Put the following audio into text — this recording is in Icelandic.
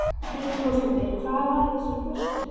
Hrund Þórsdóttir: Hvað var í þessari flösku?